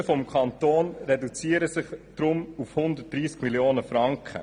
Die Kosten für den Kanton reduzieren sich deshalb auf 130 Mio. Franken.